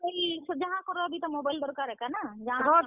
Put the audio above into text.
ଯାହା କର ବି ତ mobile ଦରକାର୍ ଏକା ନା ଜାଣାକର ।